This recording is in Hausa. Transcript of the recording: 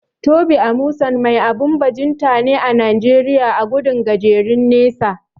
Tobi Amusan mai abun bajinta ne a Najeriya a gudun gajeren nesa.